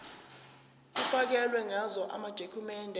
kufakelwe ngazo amadokhumende